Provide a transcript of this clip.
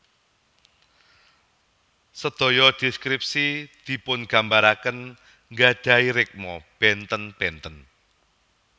Sedaya deskripsi dipungambaraken nggadahi rikma benten benten